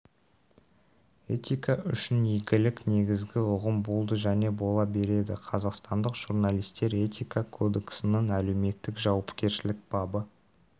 этика үшін игілік негізгі ұғым болды және бола береді қазақстандық журналистер этика кодесінің әлеуметтік жауапкершілік бабы